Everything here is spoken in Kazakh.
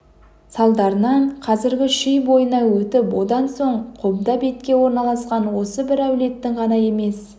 салдарынан қазіргі шүй бойына өтіп одан соң қобда бетке орналасқан осы бір әулеттің ғана емес